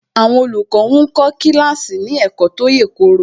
Àwọn olùkọ́ ń kọ́ kíláàsì ní ẹ̀kọ́ tó yèkoro